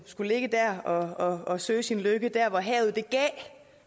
skulle ligge der og og søge sin lykke der hvor havet